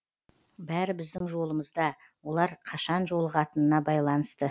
бәрі біздің жолымызда олар қашан жолығатынына байланысты